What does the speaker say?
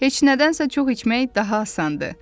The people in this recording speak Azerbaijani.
Heç nədənsə çox içmək daha asandır.